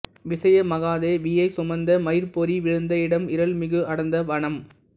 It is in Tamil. விசயமகாதேவியை சுமந்த மயிற்பொறி வீழ்ந்த இடம் இருள்மிகு அடர்ந்த வனம்